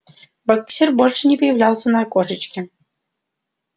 боксёр больше не появлялся в окошечке